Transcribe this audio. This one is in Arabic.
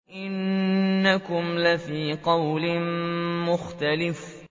إِنَّكُمْ لَفِي قَوْلٍ مُّخْتَلِفٍ